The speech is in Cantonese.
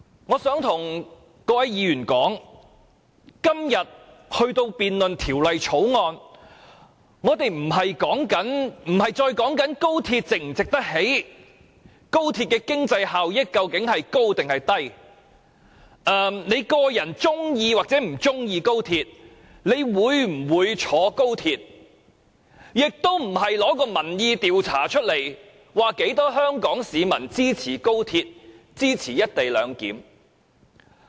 我想告訴各位議員，今天有關這項《條例草案》的辯論，已不再是討論高鐵是否值得興建、高鐵的經濟效益有多大或你個人是否喜歡及會否乘搭高鐵，也不再是引述民意調查結果，證明有多少香港市民支持高鐵及"一地兩檢"。